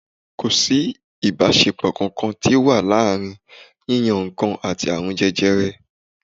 Kò sí ìbáṣepọ̀ kankan tí wọ́n ti rí láàrin yíyan nǹkan àti àrùn jẹjẹrẹ.